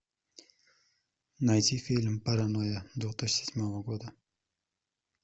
найти фильм паранойя две тысячи седьмого года